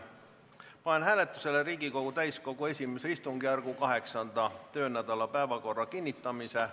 Panen hääletusele Riigikogu täiskogu I istungjärgu 8. töönädala päevakorra kinnitamise.